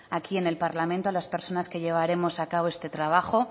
aquí en el parlamento a las personas que llevaremos a cabo este trabajo